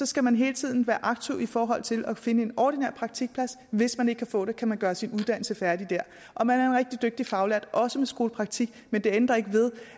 skal man hele tiden være aktiv i forhold til at finde en ordinær praktikplads hvis man ikke kan få det kan man gøre sin uddannelse færdig der og man er en rigtig dygtig faglært også med skolepraktik men det ændrer ikke ved